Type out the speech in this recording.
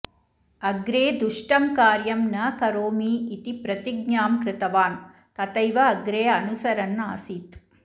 अग्रे दुष्टं कार्यं न करोमि इति प्रतिज्ञां कृतवान् तथैव अग्रे अनुसरन् आसीत्